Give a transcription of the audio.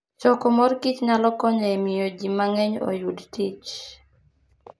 Choko mor kich nyalo konyo e miyo ji mang'eny oyud tich.